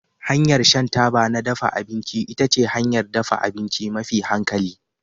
Hanyar shan taba na dafa abinci ita ce hanyar dafa abinci mafi hankali